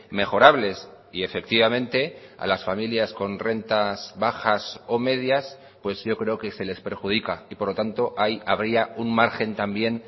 mejorables y efectivamente a las familias con rentas bajas o medias pues yo creo que se les perjudica y por lo tanto ahí habría un margen también